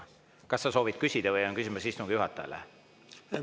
Kas sa soovid küsida või on sul küsimus istungi juhatajale?